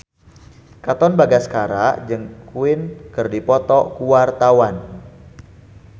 Katon Bagaskara jeung Queen keur dipoto ku wartawan